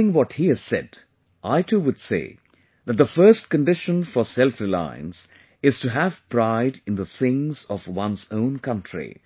Furthering what he has said, I too would say that the first condition for selfreliance is to have pride in the things of one's own country;